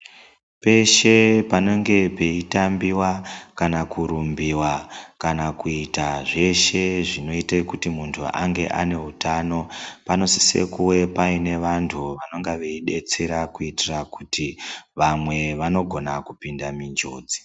Peshe pane pechitambiwa kana kurumbiwa kana kuitwa zvese zvinoita kuti muntu ange ane hutano panosesekuwe Paine wantu wanonge wachibetsera kuitira kuti vamwe vanogona kupinda munjodzo